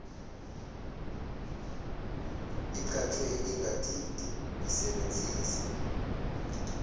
icace ingadidi isebenzise